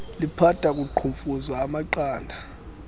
liphatha kuqhumfuza amagada